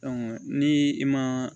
ni i ma